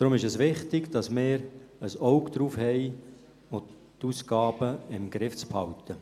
Deshalb ist es wichtig, dass wir ein Auge darauf haben und die Ausgaben im Griff behalten.